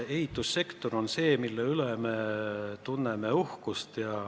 Ehitussektor on see, mille üle me tunneme uhkust.